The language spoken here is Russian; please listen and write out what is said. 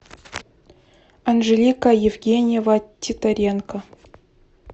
анжелика евгеньева титоренко